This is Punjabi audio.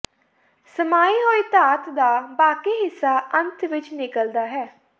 ਸਮਾਈ ਹੋਈ ਧਾਤ ਦਾ ਬਾਕੀ ਹਿੱਸਾ ਅੰਤ ਵਿੱਚ ਨਿਕਲਦਾ ਹੈ